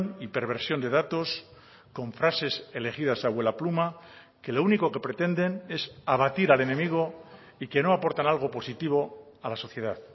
y perversión de datos con frases elegidas a vuelapluma que lo único que pretenden es abatir al enemigo y que no aportan algo positivo a la sociedad